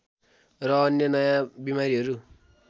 र अन्य नयाँ बिमारीहरू